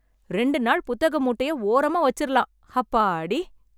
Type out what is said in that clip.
ரெண்டு நாள் புத்தக மூட்டைய ஓரமா வச்சுரலாம். அப்பாடி!!